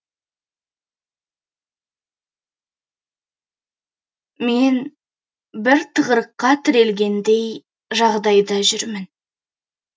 мен бір тығырыққа тірелгендей жағдайда жүрмін